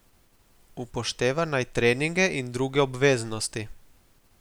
Upošteva naj treninge in druge obveznosti.